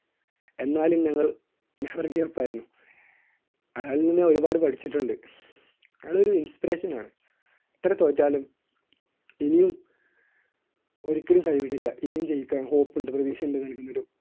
എന്നാലും ഞങ്ങൾ never give up ആയിരുന്നു. ആളില്‍ നിന്ന് ഒരുപാട് പഠിച്ചിട്ടുണ്ട്. ആൾ ഒരു inspiration ആണ്. എത്ര തോറ്റാലും ഇനിയും ഒരിക്കലും കൈവിടില്ല. ഇനിയും ജയിക്കാം hope ഉണ്ട് vision ണ്ട് നല്‍കുന്നൊരു